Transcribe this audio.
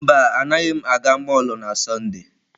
Mba, agaghị m aga mọlụ na Sọnde.